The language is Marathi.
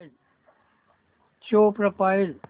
show profile